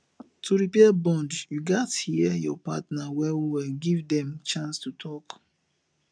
to repair bond you gats hear your partner well well give them chance to talk